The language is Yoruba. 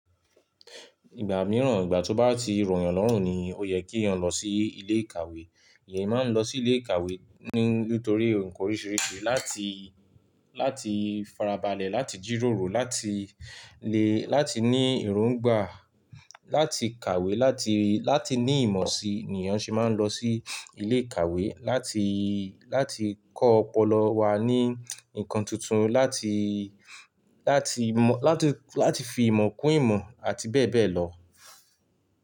Ìgbà mìíràn ìgbà tí ó bá ti rọ̀ yàn lọ́rùn ni ó yẹ kí ẹ̀yán lọ sí ilé ìkàwé. Ẹ̀yán máa ń lọ sí ilé ìkàwé ní nítorí nǹkan oríṣiríṣi. Láti, láti farabalẹ̀, láti jíròrò, láti lè, láti ní ìròǹgbà, láti kàwé, láti, láti ní ìmọ̀ sí ni èèyàn ṣe máa ń lọ sí ilé ìkàwé. Láti, láti kọ́ ọpọlọ wá ní nǹkan tuntun, láti, láti mọ̀, láti, láti fi ìmọ̀ kún ìmọ̀ àti bẹ́ẹ̀ bẹ́ẹ̀ lọ.